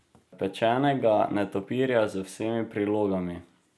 Pečenega netopirja z vsemi prilogami?